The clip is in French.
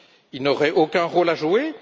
Ils n'auraient aucun rôle à jouer?